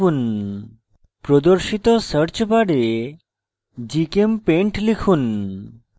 dash home এ টিপুন প্রদর্শিত search bar gchempaint লিখুন